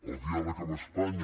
el diàleg amb espanya